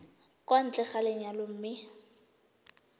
kwa ntle ga lenyalo mme